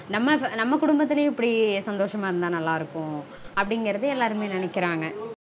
நம்ம நம்ம குடும்பத்திலையும் இப்படி சந்தொஷமா இருந்தா நல்லா இருக்கும் அப்டீங்கறது எல்லாருமே நெனைக்கறாங்க